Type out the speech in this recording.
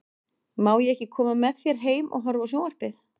Má ég ekki koma með þér heim og horfa á sjón- varpið?